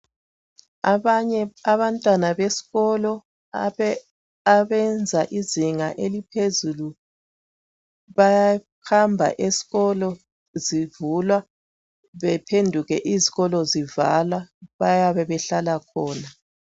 Abanye abantwana besikolo abenza izinga eliphezulu bayahamba esikolo zivulwa bephenduke izikolo zivala bayabe behlala khona.